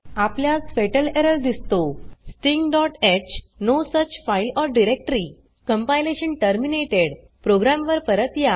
आपल्यास fatal error दिसतो stingh no such file or directory compilation terminated program वर परत या